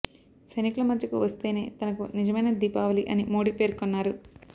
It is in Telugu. సైనికుల మధ్యకు వస్తేనే తనకు నిజమైన దీపావళి అని మోడీ పేర్కొన్నారు